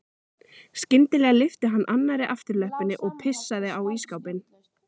Skyndilega lyfti hann annarri afturlöppinni og pissaði á ísskápinn.